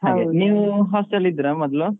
ನೀವ್ hostel ಅಲ್ ಇದ್ರ ಮೊದ್ಲು?